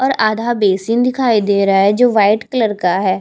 और आधा बेसिन दिखाई दे रहा है जो व्हाइट कलर का है।